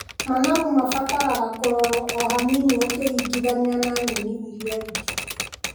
Managu mabataraga kũrorwo o hanini ũkĩringithania na nyeni irĩa ingĩ.